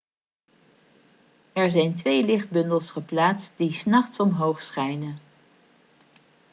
er zijn twee lichtbundels geplaatst die s nachts omhoog schijnen